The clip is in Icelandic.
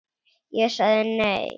Ég sagði nei.